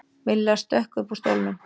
Milla stökk upp úr stólnum.